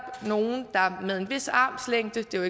nogle der med en vis armslængde det er